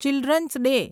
children's day